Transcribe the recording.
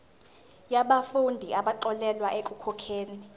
yabafundi abaxolelwa ekukhokheni